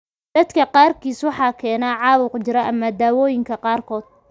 Dadka qaarkiis, waxa keena caabuq, jirro ama dawooyinka qaarkood.